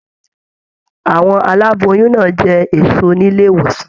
Àwọn aláboyún náà jẹ èso nílé ìwòsàn.